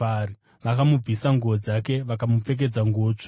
Vakamubvisa nguo dzake vakamupfekedza nguo tsvuku.